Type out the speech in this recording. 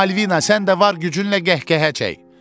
Malvina, sən də var gücünlə qəhqəhə çək!